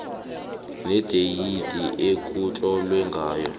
nedeyidi ekutlolwe ngayo